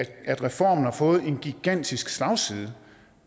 at reformen har fået en gigantisk slagside